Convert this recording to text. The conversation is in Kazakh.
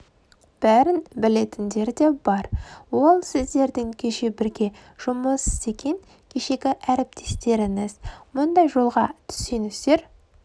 бәрін білетіндер де бар ол сіздердің кеше бірге жұмыс істеген кешегі әріптестеріңіз мұндай жолға түссеңіздер